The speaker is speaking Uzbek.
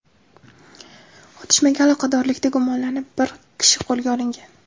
Otishmaga aloqadorlikda gumonlanib, bir kishi qo‘lga olingan.